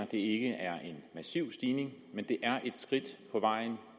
det ikke er en massiv stigning men det er et skridt på vej